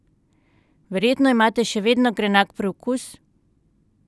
Verjetno imate še vedno grenak priokus?